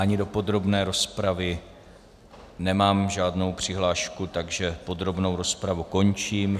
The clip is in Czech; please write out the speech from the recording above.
Ani do podrobné rozpravy nemám žádnou přihlášku, takže podrobnou rozpravu končím.